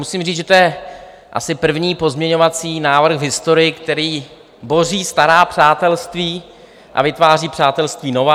Musím říct, že to je asi první pozměňovací návrh v historii, který boří stará přátelství a vytváří přátelství nová.